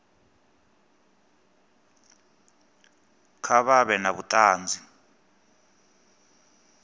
kha vha vhe na vhuṱanzi